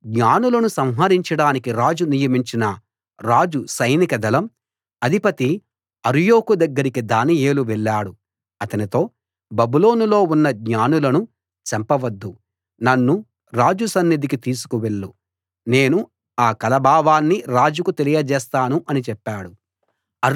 జ్ఞానులను సంహరించడానికి రాజు నియమించిన రాజ సైనిక దళం అధిపతి అర్యోకు దగ్గరికి దానియేలు వెళ్ళాడు అతనితో బబులోనులో ఉన్న జ్ఞానులను చంపవద్దు నన్ను రాజు సన్నిధికి తీసుకు వెళ్ళు నేను ఆ కల భావాన్ని రాజుకు తెలియజేస్తాను అని చెప్పాడు